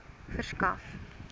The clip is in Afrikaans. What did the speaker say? verskaf